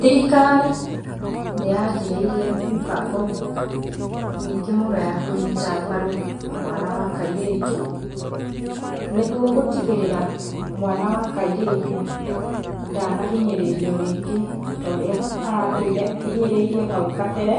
Thirikari nĩ yanjĩrĩirie mĩbango mĩingĩ mũno ya kũnyita mbaru mwana wa kairĩtu, nĩguo gũtigĩrĩra mwana wa kairĩtu ndanahinyĩrĩrio rĩngĩ torĩa aratũire ahinyĩrĩirio hau kabere,